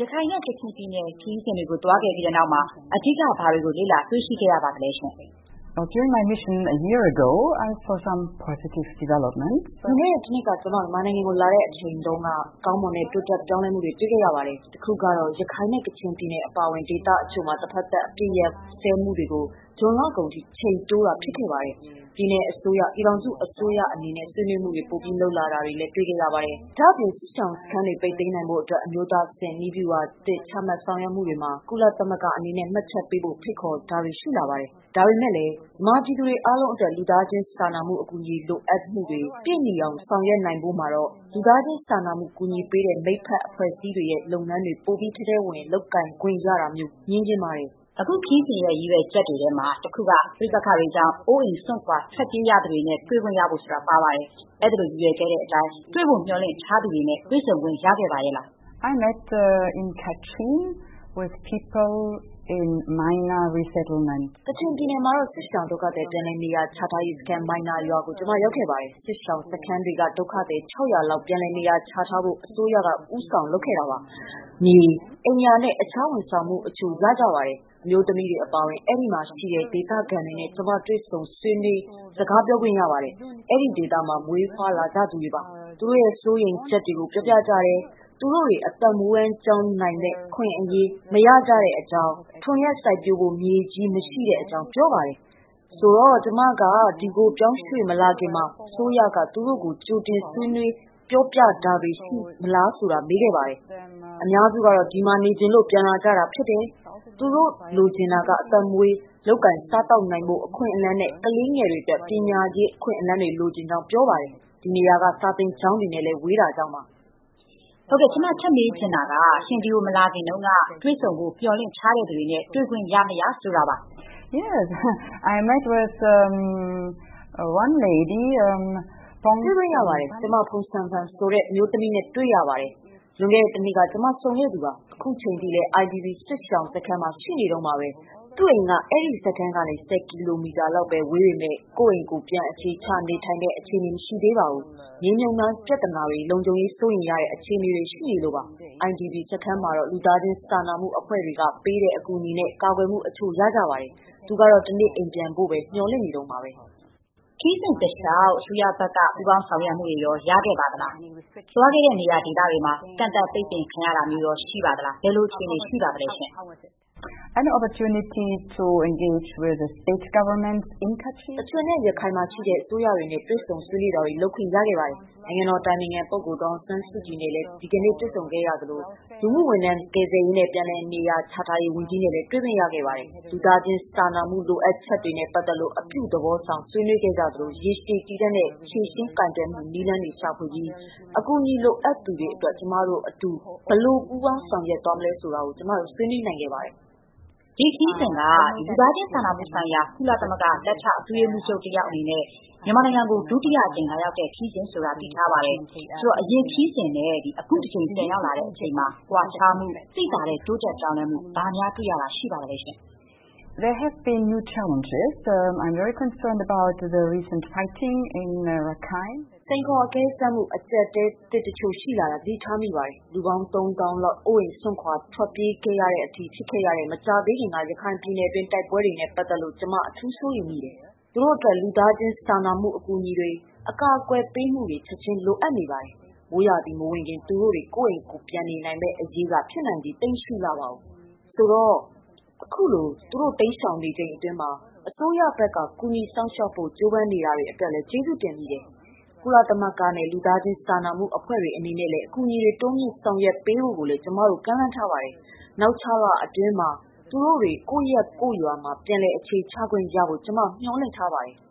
ရခိုင်နဲ့ ကချင်ပြည်နယ်ခရီးစဉ်တွေ သွားခဲ့ပြီးတဲ့နောက် အဓိက ဘာတွေ လေ့လာတွေ့ရှိခဲ့ရသလဲဆိုတာ သိပါရစေ။ လွန်ခဲ့တဲ့တနှစ်က ကျမ မြန်မာနိုင်ငံကိုလာခဲ့ချိန်တုန်းက ကောင်းမွန်တဲ့ တိုးတက်ပြောင်းလဲမှုတချို့ တွေ့ခဲ့ရပါတယ်။ တခုကတော့ ရခိုင်နဲ့ကချင်ပြည်နယ်တွေ အပါအဝင် ဒေသတချို့မှာ တဘက်သက် အပစ်ရပ်စဲမှုကို ဇွန်လကုန်အထိ အချိန်တိုးတာ ဖြစ်ခဲ့ပါတယ်။ ပြည်နယ်အစိုးရ၊ ပြည်ထောင်စုအစိုးရတွေ အနေနဲ့ ဆွေးနွေးမှုတွေ ပိုပြီးလုပ်လာတာလည်း တွေ့ရတယ်။ ဒါ့အပြင် စစ်ရှောင်စခန်းတွေ ပိတ်သိမ်းနိုင်ဖို့ အတွက် အမျိုးသားအဆင့် နည်းဗျူဟာသစ် ချမှတ်ဆောင်ရွက်မှုတွေမှာ ကုလသမဂ္ဂအနေနဲ့ မှတ်ချက်ပေးဖို့ ဖိတ်ခေါ်တာတွေ ရှိလာပါတယ်။ ဒါပေမဲ့လည်း မြန်မာပြည်သူတွေအားလုံးအတွက် လူသားချင်းစာနာမှု အကူအညီ လိုအပ်ချက်တွေ ပြည့်မီအောင် ဆောင်ရွက်နိုင်ဖို့မှာတော့ လူသားချင်စာနာမှု ကူညီပေးတဲ့ မိတ်ဖက်အဖွဲ့တွေရဲ့လုပ်ငန်းတွေ ပိုပြီး ထဲထဲဝင်ဝင် လုပ်ကိုင်ခွင့် ရတာမျိုး မြင်ချင်ပါတယ်။” အခုရီးစဉ်ရဲ့ ရည်ရွယ်ချက်တွေထဲမှာ တခုက ပဋိပက္ခတွေကြောင့် အိုးအိမ်စွန့်ခွာ ထွက်ပြေးရသူတွေနဲ့ တွေ့ခွင့်ရဖို့ ဆိုတာ ပါပါတယ်။ အဲ့ဒီလို ရည်ရွယ်တဲ့အတိုင်း တွေ့ဖို့မေ ျှာ်လင့်ထားသူတွေနဲ့ တွေ့ဆုံခွင့်ရော ရပါရဲ့လား။ ကချင်ပြည်နယ်မှာတော့ စစ်ရှောင်ဒုက္ခသည် ပြန်လည်နေရာချထားရေးစခန်း မိုင်နာရွာကို ကျမ ရောက်ခဲ့ပါတယ်။ စစ်ရှောင်စခန်းတွေက ဒုက္ခသည် ၆၀၀ လောက်ကို ပြန်လည် နေရာချထားဖို့ အစိုးရက ဦးဆောင်လုပ်ခဲ့တာပါ။ မြေ၊ အိမ်ယာနဲ့ တခြား ဝန်ဆောင်မှုတချို့ ရကြပါတယ်။ အမျိုးသမီးတွေ အပါအဝင် အဲဒီမှာရှိတဲ့ ဒေသခံတွေနဲ့ ကျမ တွေ့ဆုံစကားပြောပါတယ်။ အဲ့ဒီဒေသမှာ ဖွားလာကြသူတွေပါ။ သူတို့ရဲ့စိုးရိမ်ချက် တွေကို ပြောပြကြပါတယ်။ သူတို့တွေ အသက်မွေးဝမ်းကျောင်းနိုင်မယ့် အခွင့်အလမ်း မရကြတဲ့အကြောင်း၊ ထွန်ယက်စိုက်ပျိုးဖို့မြေကြီး မရှိတဲ့အကြောင်း ပြောပါတယ်။ ဆိုတော့ ကျမက ဒီကိုပြောင်းရွှေ့မလာခင်မှာ အစိုးရက သူတို့ကို ကြိုတင် ဆွေးနွေးပြောပြတာတွေ ရှိသလားလို့မေးခဲ့ပါတယ်။ အများစုကတော့ ဒီမှာနေချင်လို့ ပြန်လာကြတာဖြစ်တယ်။ သူတို့လိုချင်တာက အသက်မွေး လုပ်ကိုင်စားသောက်နိုင်ဖို့ အခွင့်အလမ်း နဲ့ ကလေးငယ်တွေအတွက် ပညာရေး အခွင့်အလမ်းတွေလိုချင်ကြောင်း ပြောပါတယ်။ ဒီနေရာက စာသင်ကျောင်းတွေနဲ့လည်း ဝေးတာကြောင့်ပါ။” ကျမ ထပ်မေး ချင်တာက ရှင် ဒီကိုမလာခင်တုန်းက တွေ့ဆုံဖို့ မေ ျှာ်မှန်းထားသူတွေနဲ့ တွေ့ဆုံခွင့် ရ မရ ဆိုတာပါ။ တွေ့ခွင့်ရပါတယ်။ ကျမ ဖုန်ဆမ်ဖန် ဆိုတဲ့ အမျိုးသမီးနဲ့တွေ့ပါတယ်။ လွန်ခဲ့တဲ့တနှစ်က ကျမဆုံခဲ့သူပါ။ အခုချိန်ထိလည်း IDP စစ်ရှောင်စခန်းမှာ ရှိနေတုန်းပါ။ သူ့အိမ်က အဲဒီစခန်းကနေ ၁၀ ကီလိုမီတာလောက်ပဲ ဝေးပေမဲ့၊ ကိုယ့်အိမ်ကိုယ် ပြန်အခြေချနေထိုင်တဲ့ အခြေအနေ မရှိသေးပါဘူး။ မြေမြှုပ်မိုင်းပြသနာတွေ၊ လုံခြုံရေး စိုးရိမ်ရတဲ့အခြေအနေတွေ ရှိနေလို့ပါ။ IDP စခန်းမှာကတော့ လူသားချင်စာနာမှုအဖွဲ့တွေက ပေးတဲ့ အကူအညီနဲ့ ကာကွယ်မှုတချို့ ရပါတယ်။ သူကတော့ တနေ့ အိမ်ပြန်ဖို့တော့ မေ ျှာ်လင့်နေတုန်းပါပဲ။ ခရီးစဉ်တလေ ျှာက် အစိုးရဘက်က ပူးပေါင်းဆောင်ရွက်မှုတွေရခဲ့ပါသလား။ သွားခဲ့တဲ့နေရာဒေသတွေမှာ ကန့်သတ်ပိတ်ပင်ခံရတာမျိုးရော ရှိပါလား။ ဘယ်လိုအခြေအနေ ရှိပါလဲ။ ကချင်နဲ့ ရခိုင်မှာရှိတဲ့ အစိုးရတွေနဲ့ တွေ့ဆုံ ဆွေးနွေးတာတွေ လုပ်ခွင့်ရခဲ့ပါတယ်။ နိုင်ငံတော်အတိုင်ပင်ခံ ပုဂ္ဂိုလ် ဒေါ်အောင်ဆန်းစုကြည်နဲ့လည်း ဒီကနေ့ တွေ့ဆုံခဲ့သလို၊ လူမှုဝန်ထမ်း ကယ်ဆယ်ရေးနဲ့ ပြန်လည်နေရာချထားရေး ဝန်ကြီးနဲ့လည်း တွေ့ခွင့်ရပါတယ်။ လူသားချင်စာနာမှု လိုအပ်ချက်တွေနဲ့ ပတ်သက်လို့ အပြုသဘောဆောင် ဆွေးနွေးခဲ့ကြသလို၊ ရေရှည်တည်တံ့တဲ့ ဖြေရှင်းကိုင်တွယ်မှုနည်းလမ်းတွေ ရှာဖွေပြီး အကူအညီလိုအပ်သူတွေအတွက် ကျမတို့အတူ ဘယ်လို ပူုးပေါင်း ဆောင်ရွက်သွားနိုင်မလဲဆိုတာတွေကို ဆွေးနွေးခဲ့ကြပါတယ်။ ဒီခရီးစဉ်က မစ္စမူလာအတွက် လူသားချင်းစာနာမှုဆိုင်ရာ ကုလသမဂ္ဂ လက်ထောက် အတွင်းရေးမှူးချုပ် အနေနဲ့ ဒုတိယအကြိမ် မြန်မာနိုင်ငံကို လာရောက်တဲ့ ခရီးစဉ်ဆိုတာ သိထားပါတယ်။ အရင်ခရီးစဉ်နဲ့ အခုတကြိမ် ပြန်ရောက်လာတဲ့အချိန်မှာ ကွာခြားမှု၊ သိသာတဲ့ တိုးတက် ပြောင်းလဲမှု ဘာများ တွေ့ရတာရှိပါသလဲ။ စိန်ခေါ်အကဲစမ်းမှု အကျပ်အတည်းသစ်တချို့ ရှိလာတာ သတိထားမိပါတယ်။ လူပေါင်း ၃ သောင်းလောက် အိုးအိမ်စွန့်ခွာ ထွက်ပြေးရတဲ့အထိ ဖြစ်ခဲ့ရတဲ့ မကြာသေးခင်က ရခိုင်ပြည်နယ်တွင်း တိုက်ပွဲတွေနဲ့ပတ်သက်လို့ ကျမ အထူးစိုးရိမ်ပါတယ်။ သူတို့အတွက် လူသားချင်းစာနာမှု အကူအညီတွေ၊ အကာအကွယ်ပေးမှုတွေ ချက်ချင်းလိုအပ်နေပါတယ်။ မိုးရာသီမဝင်ခင် သူတို့တွေ ကိုယ့်အိမ်ကိုယ်ပြန်နိုင်မယ့်အရေးက ဖြစ်နိုင်ချေ သိပ်မရှိလှပါဘူး။ ဆိုတော့ ခုလို သူတို့ တိမ်းရှောင်နေရချိန်မှာ အစိုးရက ကူညီစောင့်ရှောက်ဖို့ ကြိုးပမ်းနေတာတွေအတွက် ကျေးဇူးတင်ပါတယ်။ ကုလသမဂ္ဂနဲ့လူသားချင်းစာနာမှု အဖွဲ့တွေ အနေနဲ့လည်း အကူအညီတွေ တိုးမြင့် ဆောင်ရွက်ခွင့်ပေးဖို့ကိုလည်း ကျမတို့ ကမ်းလှမ်းထားပါတယ်။ နောက် ခြောက်လလောက်အတွင်းမှာ သူတို့တွေ ကိုယ့်ရပ်ရွာမှာ ပြန်လည် အခြေချခွင့်ရဖို့ ကျမတို့မေ ျှာ်လင့်ပါတယ်။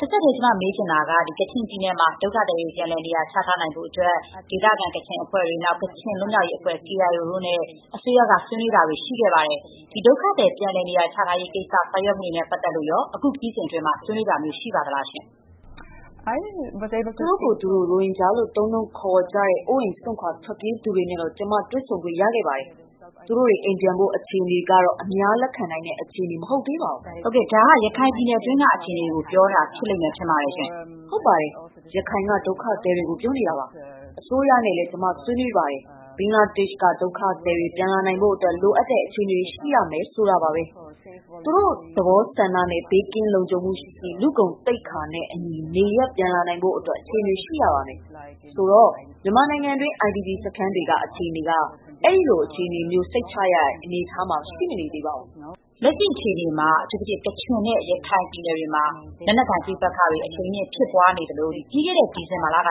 တဆက်တည်း ကျမ မေးချင်တာက ကချင်ပြည်နယ်မှာ ဒုက္ခသည်တွေ ပြန်လည် နေရာချထားရေးအတွက် ဒေသခံ ကချင်အဖွဲ့တွေ၊ ကချင်လွတ်မြောက်ရေးအဖွဲ့ KIA တို့နဲ့ပါ အစိုးရက ဆွေးနွေးနေတာတွေရှိပါတယ်။ ဒီဒုက္ခသည် ပြန်လည် နေရာချထားရေး ကိစ္စ ဆောင်ရွက်မှုတွေနဲ့ပတ်သက်လို့ရော အခုခရီးစဉ်အတွင်း ဆွေးနွေးခဲ့တာရှိပါလား။ သူတို့ကိုယ်သူတို့ ရိုဟင်ဂျာလို့သုံးနှုန်းခေါ်ဝေါ်ကြတဲ့ အိုးအိမ်စွန့်ခွာထွက်ပြေးနေရသူတွေနဲ့ကျမ တွေ့ဆုံခဲ့တာ ရှိပါတယ်။ သူတို့တွေ အိမ်ပြန်ဖို့ အခြေအနေကတော့ အများလက်ခံနိုင်တဲ့အခြေအနေ မဟုတ်သေးပါဘူး။ ဒါက ရခိုင်ပြည်နယ်တွင်းက အခြေအနေကို ပြောတာဖြစ်လိမ့်မယ် ထင်ပါတယ်။ ဟုတ်ပါတယ်။ ရခိုင်က ဒုက္ခသည်တွေကို ပြောတာပါ။ အစိုးရနဲ့လည်း ကျမ ဆွေးနွေးပါတယ်။ ဘင်္ဂလားဒေ့ရှ်က ဒုက္ခသည်တွေ ပြန်လာနိုင်ဖို့အတွက် လိုအပ်တဲ့ အခြေအနေတွေ ရှိရမယ်ဆိုတာပါ။ သူတို့သဘောဆန္ဒနဲ့ ဘေးကင်းလုံခြုံမှုရှိရှိ၊ လူ့ဂုဏ်သိက္ခာနဲ့အညီ နေရပ် ပြန်လာနိုင်ဖို့အတွက် အခြေအနေတွေရှိရပါမယ်။ ဆိုတော့ မြန်မာနိုင်ငံတွင်း IDP စခန်းတွေက အခြေအနေက အဲ့ဒီလိုအခြေအနေမျိုး စိတ်ချရတဲ့ အနေအထားမှာ ရှိမနေသေးပါဘူး။ လက်ရှိ အခြေအနေမှာ အထူးသဖြင့် ကချင်နဲ့ ရခိုင်ပြည်နယ်တွေမှာ လက်နက်ကိုင်ပဋိပက္ခတွေ အရှီန်မြင့်ဖြစ်ပွားနေသလို၊ ပြီးခဲ့တဲ့ဒီဇင်ဘာက စ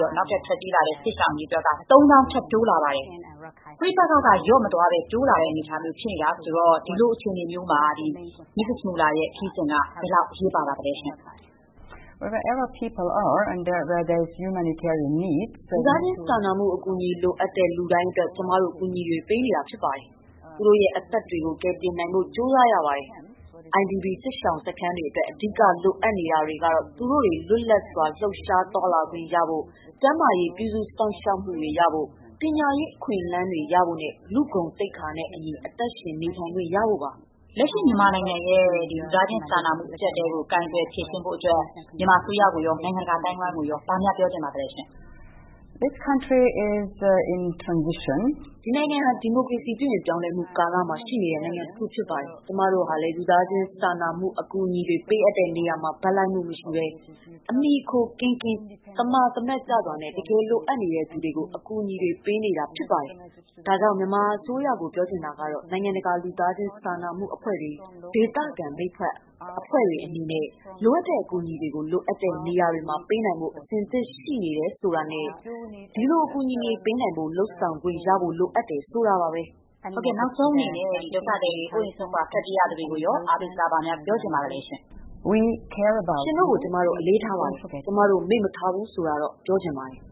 လို့နောက်ထပ် ထွက်ပြေးရတဲ့ စစ်ရှောင်အရေအတွက်က ၃ သောင်း ထပ်တိုးလာပါတယ်။ ပဋိပက္ခက လျော့မသွားဘဲတိုးလာတဲ့ အနေအထားမျိုး ဖြစ်နေတော့ ဒီလိုအခြေအနေမျိုးမှာ မစ္စမူလာရဲ့ခရီးစဉ်က ဘယ်လောက် အရေးပါ ပါသလဲ။ လူသားချင်းစာနာမှု အကူအညီ လိုအပ်တဲ့ လူတိုင်းအတွက် ကျမတို့ အကူအညီတွေ ပေးရပါလိမ့်မယ်။ သူတို့ရဲ့အသက်တွေကို ကယ်တင်နိုင်ဖို့ ကြိုးစားရပါတယ်။ IDP စစ်ရှောင်စခန်းတွေအတွက် အဓိက လိုအပ်နေတာတွေကတော့ သူတို့တွေလွတ်လပ်စွာ လှုပ်ရှားသွားလာခွင့် ရဖို့၊ ကျန်းမာရေး ပြုစုစောင့်ရှောက်ခွင့်တွေ ရဖို့၊ ပညာရေးအခွင့်အလမ်းတွေ ရရှိဖို့နဲ့ လူ့ဂုဏ်သိက္ခာနဲ့အညီ အသက်ရှင်နေထိုင်ခွင့် ရဖို့ပါ။ လက်ရှိ မြန်မာနိုင်ငံရဲ့လူသားချင်းစာနာမှု အကျပ်အတည်းကို ကိုင်တွယ် ဖြေရှင်းဖို့အတွက် မြန်မာအစိုးရကိုရော၊ နိုင်ငံတကာ အသိုင်းအဝိုင်းကိုရော ဘာများပြောချင်ပါသလဲရှင့်။ ဒီနိုင်ငံဟာ ဒီမိုကရေစီပြုပြင်ပြောင်းလဲမှု ကာလမှာ ရှိနေတဲ့နိုင်ငံတခုဖြစ်ပါတယ်။ ကျမတို့ဟာလည်း လူသားချင်းစာနာမှု အကူအညီတွေ ပေးအပ်တဲ့နေရာမှာ ဘက်လိုက်မှုမရှိ၊ အမီအခိုကင်းကင်း၊ သမာသမတ်ကျစွာနဲ့ တကယ် လိုအပ်နေတဲ့သူတွေကို အကူအညီတွေ ပေးနေတာ ဖြစ်ပါတယ်။ ဒါကြောင့် မြန်မာအစိုးရကို ပြောချင်တာကတော့ နိုင်ငံတကာ လူသားချင်းစာနာမှုအဖွဲ့တွေ၊ ဒေသခံ မိတ်ဖက်အဖွဲ့တွေအနေနဲ့ လိုအပ်တဲ့ အကူအညီတွေကို လိုအပ်တဲ့နေရာတွေမှာ ပေးနိုင်ဖို့အဆင်သင့် ရှိနေတယ်ဆိုတာနဲ့ ဒီလို အကူအညီပေးနိုင်ဖို့အတွက် လုပ်ဆောင်ခွင့် ရဖို့ လိုအပ်တယ် ဆိုတာပါပဲ။ နောက်ဆုံးအနေနဲ့ ဒုက္ခသည်တွေ၊ အိုးအိမ်စွန့်ခွာ ထွက်ပြေးနေရသူတွေကိုရော အားပေးစကား ဘာများ ပြောနိုင်ပါမလဲ။ ရှင်တို့ကို ကျမတို့အလေးထားပါတယ်။ ကျမတို့မေ့မထားဘူး ဆိုတာ ပြောချင်ပါတယ်